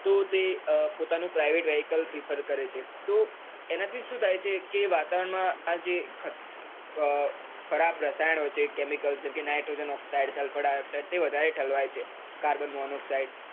તો તે પોતાનું private, vehical, preferred કરે છે, તો એના થી સુ થાય છે કે વાતાવરણ માં આજે ખરાબ રસાયણો છે chemical છે. nitrogen, oxyde, salfar, dioxide તે વધારે ઠલવાય છે. carbon, monoxyde